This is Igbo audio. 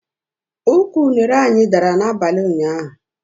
Ụkwụ unere anyị dara n'abalị ụnyaahụ